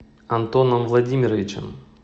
антоном владимировичем